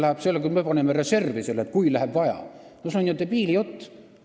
See jutt, et me paneme selle reservi juhuks, kui läheb vaja, no see on ju debiili jutt.